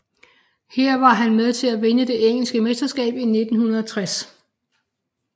Her var han med til at vinde det engelske mesterskab i 1960